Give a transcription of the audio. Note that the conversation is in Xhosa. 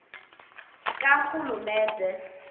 karhulumente